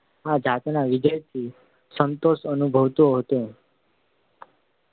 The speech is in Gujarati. આ જાતના વિજયથી સંતોષ અનુભવતો હતો